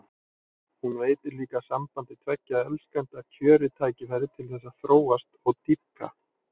Hún veitir líka sambandi tveggja elskenda kjörið tækifæri til þess að þróast og dýpka.